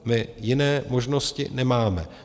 My jiné možnosti nemáme.